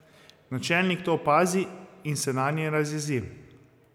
Načelnik to opazi in se nanje razjezi.